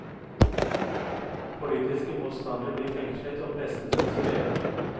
Politiske motstandere blir fengslet og pressen sensurert.